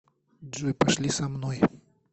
джой пошли со мной